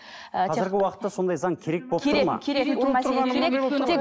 ы қазіргі уақытта сондай заң керек керек керек